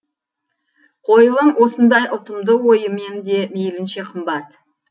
қойылым осындай ұтымды ойымен де мейлінше қымбат